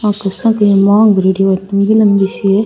यहाँ पे सब कोई री मांग भरेड़ी है और पूरी लम्बी सी है।